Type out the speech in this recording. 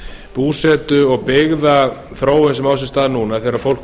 búsetu og byggðaþróun sem á sér stað núna þegar fólk